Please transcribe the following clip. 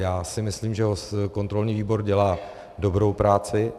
Já si myslím, že kontrolní výbor dělá dobrou práci.